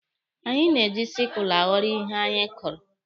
Anyị na-eji sikụlụ aghọrọ ihe anyị kụrụ.